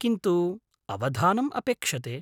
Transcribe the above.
किन्तु अवधानम् अपेक्षते।